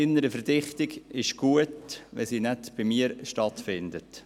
Innere Verdichtung ist gut, solange sie nicht bei mir stattfindet.